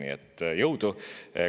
Nii et jõudu!